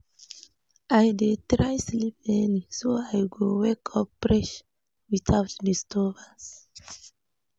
I dey try sleep early, so I go wake up fresh without disturbance.